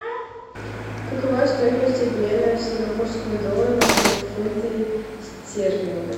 какова стоимость обмена сингапурского доллара в фунты стерлинга